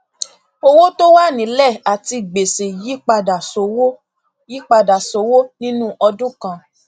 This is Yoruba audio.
owó tó wà nílẹ àti gbèsè yípadà sówó yípadà sówó nínú ọdún kan